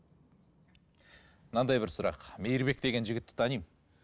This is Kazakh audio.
мынандай бір сұрақ мейірбек деген жігітті танимын